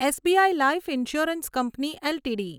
SBI life insurance company LTD